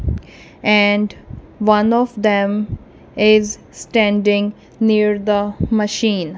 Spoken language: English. and one of them is standing near the machine.